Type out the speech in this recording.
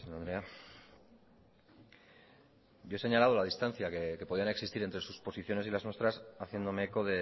presidente anderea yo he señalado la distancia que podían existir entre sus posiciones y las nuestras haciéndome eco